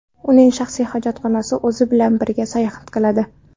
Uning shaxsiy hojatxonasi o‘zi bilan birga sayohat qiladi.